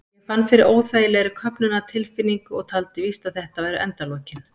Ég fann fyrir óþægilegri köfnunartilfinningu og taldi víst að þetta væru endalokin.